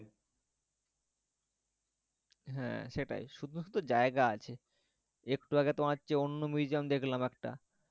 হ্যাঁ সেটাই শুধু শুধু জায়গা আছে একটু আগে তোমার চেয়ে অন্য museum দেখলাম একটা,